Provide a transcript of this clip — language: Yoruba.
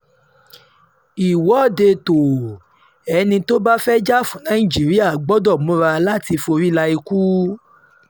ìwọ́de tóò- ẹni tó bá fẹ́ẹ́ jà fún nàìjíríà gbọ́dọ̀ múra láti forí la ikú